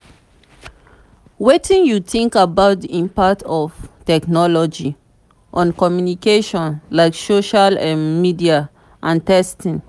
wetin you think about di impact of technology on communication like social um media and texting?